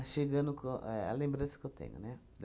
A chegando com é a lembrança que eu tenho, né?